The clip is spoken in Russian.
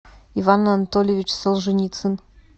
иван анатольевич солженицын